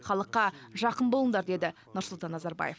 халыққа жақын болыңдар деді нұрсұлтан назарбаев